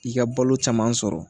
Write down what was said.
I ka balo caman sɔrɔ